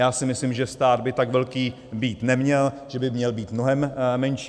Já si myslím, že stát by tak velký být neměl, že by měl být mnohem menší.